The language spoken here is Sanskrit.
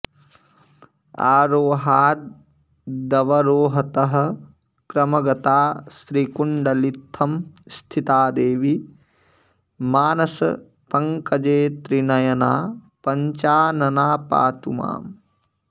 आरोहादवरोहतः क्रमगता श्रीकुण्डलीत्थं स्थिता देवी मानसपङ्कजे त्रिनयना पञ्चानना पातु माम्